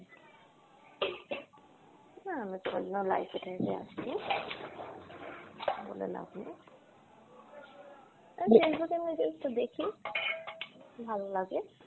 না আমি কোনোদিনো live এ টাইভে আসিনি, বলে লাভ নেই। আমি Facebook এমনি just দেখি, ভালো লাগে।